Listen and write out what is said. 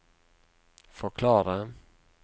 forklare